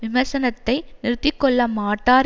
விமர்சனத்தை நிறுத்தி கொள்ள மாட்டார்